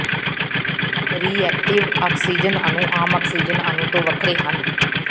reactive oxygen ਅਣੂ ਆਮ oxygen ਅਣੂ ਤੋਂ ਵੱਖਰੇ ਹਨ